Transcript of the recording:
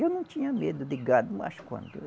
Eu não tinha medo de gado, mas quando